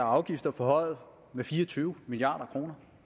og afgifter forhøjet med fire og tyve milliard kroner